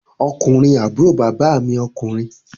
Ọkùnrin àbúrò bàbá mi ọkùnrin